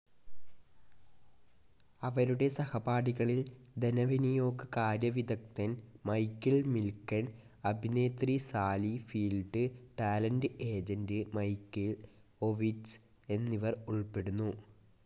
അവരുടെ സഹപാഠികളിൽ ധനവിനിയോഗകാര്യവിദഗ്ധൻ മൈക്കിൾ മിൽകെൻ, അഭിനേത്രി Sally Field, talent agent Michael Ovitz എന്നിവർ ഉൾപ്പെടുന്നു.